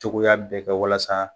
Cogoya bɛɛ kɛ walasa.